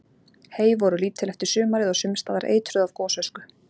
Hey voru lítil eftir sumarið og sums staðar eitruð af gosösku.